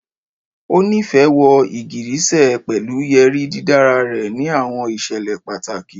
O nifẹ wọ igigirisẹ pẹlu yeri didara rẹ ni awọn iṣẹlẹ pataki